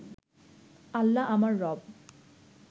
আল্লাহ আমার রব